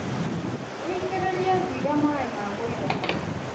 Wĩitĩrĩirie mbiga maĩ ma kũigana.